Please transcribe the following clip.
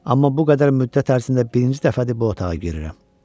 Amma bu qədər müddət ərzində birinci dəfədir bu otağa girirəm.